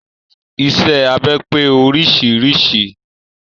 Iṣẹ́ abẹ pé oríṣiríṣi.